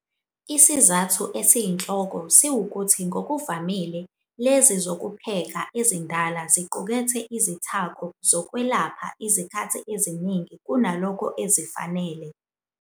Isizathu esiyinhloko siwukuthi ngokuvamile lezi zokupheka ezindala ziqukethe izithako ezokwelapha izikhathi eziningi kunalokho ezifanele.